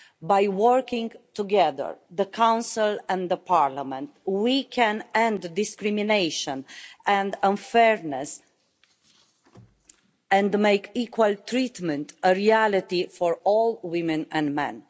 By working together, the Council and Parliament, we can end discrimination and unfairness and make equal treatment a reality for all women and men.